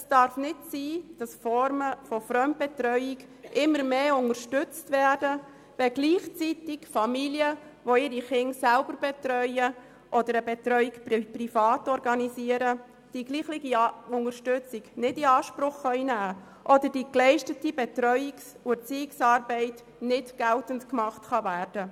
Es darf nicht sein, dass gewisse Formen der Fremdbetreuung immer mehr unterstützt werden, während gleichzeitig Familien, die ihre Kinder selber betreuen oder eine Betreuung privat organisieren, nicht die gleiche Unterstützung in Anspruch nehmen oder die geleistete Betreuungs- und Erziehungsarbeit nicht geltend machen können.